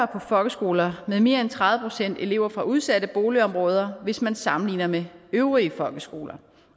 på folkeskoler med mere end tredive procent elever fra udsatte boligområder hvis man sammenligner med øvrige folkeskoler